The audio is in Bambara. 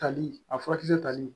Tali a furakisɛ tali